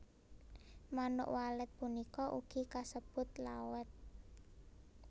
Manuk Walet punika ugi kasebut Lawet